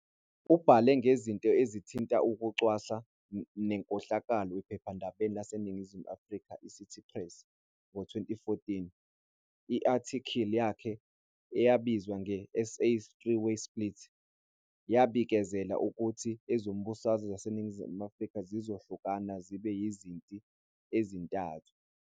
Ubhale ngezinto ezithinta ukucwasa nenkohlakalo ephephandabeni laseNingizimu Afrika iCity Press. Ngo-2014, i-athikili yakhe eyayibizwa nge-"SA's Three-Way Split" yabikezela ukuthi ezombusazwe zaseNingizimu Afrika zizohlukana zibe yizinti ezintathu.